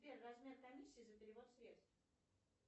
сбер размер комиссии за перевод средств